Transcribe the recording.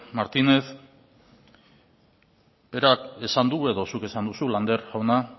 martínez berak esan du edo zuk esan duzu lander jauna